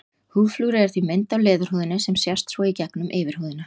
Húðflúrið er því mynd á leðurhúðinni sem sést svo í gegnum yfirhúðina.